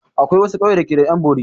Akwai wasu ƙauye da ke da 'yan bori.